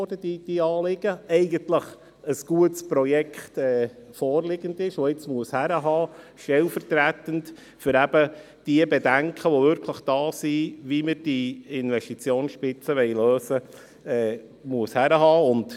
Es wurde immer wieder gesagt, jetzt müsse ein gutes Projekt den Kopf hinhalten, stellvertretend für die Bedenken, wie diese Investitionsspitze gelöst werden soll.